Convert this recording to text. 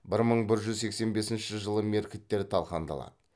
бір мың бір жүз сексен бесінші жылы меркіттер талқандалады